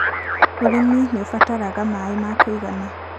ũrĩmi nĩũbataraga maĩ ma kũigana